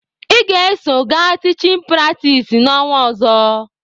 Ị ga-eso gaa tichin pratis n'ọnwa ọzọ!